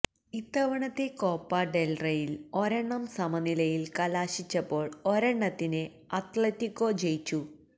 ഇത്തവണത്തെ കോപ്പ ഡെല്റേയില് ഒരെണ്ണം സമനിലയില് കലാശിച്ചപ്പോള് ഒരെണ്ണത്തില് അത്ലറ്റികോ ജയിച്ചു